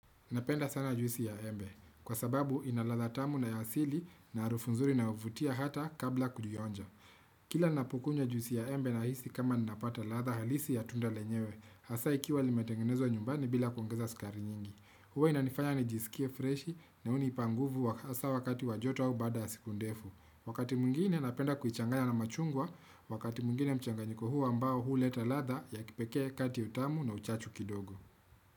Napenda sana juisi ya embe, kwa sababu inaladha tamu na yaasili na harufunzuri inayovutia hata kabla kulionja. Kila ninapokunywa juisi ya embe na hisi kama ninapata ladha halisi ya tunda lenyewe, hasa ikiwa limetengenezwa nyumbani bila kuongeza sukari nyingi. Huwa inanifanya nijisikie freshi na hunipanguvu hasa wakati wajoto au baada yasiku ndefu. Wakati mwingine napenda kuichangaya na machungwa, wakati mwingine mchanganyiko huu ambao huu leta ladha ya kipekee kati utamu na uchachu kidogo.